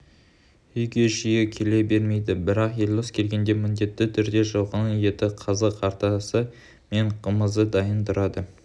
үйге жиі келе бермейді бірақ елдос келгенде міндетті түрде жылқының еті қазы-қартасы мен қымызы дайын тұрады